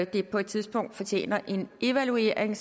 det på et tidspunkt fortjener en evaluering